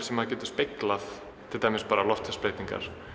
sem maður getur speglað til dæmis loftslagsbreytingar